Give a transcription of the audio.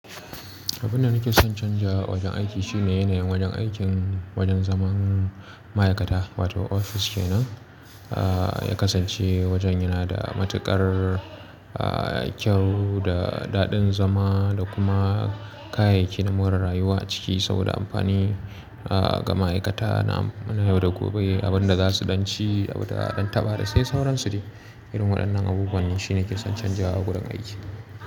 Abunda nake son canza wajen aiki shine yanayin wajen aikin wajen zaman ma'aikata wato ofis kenan, ah ya kasance wajen yana da matuƙar ah kyau da daɗin zama da kuma kayayyaki na more rayuwa a ciki saboda amfani ah ga ma'aikata na yau da gobe abunda za su ɗan ci da daɗin taba da sai sauransu ne. Irin waɗannan abubuwan ne shine ke son canzawa wurin aiki.